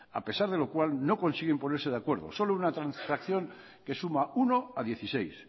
a pesar de lo cual no consiguen ponerse de acuerdo solo una transacción que suma uno a dieciséis